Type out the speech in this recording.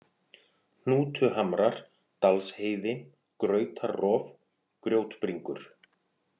Hnútuhamrar, Dalsheiði, Grautarrof, Grjótbringur